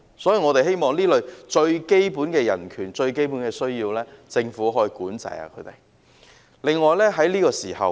所以我們希望對這類最基本的人權、最基本的需要，政府可以加以管制。